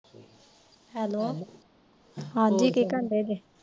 Hello ਹਾਂਜੀ ਕੀ ਕਰਨ ਦਏ ਜੇ?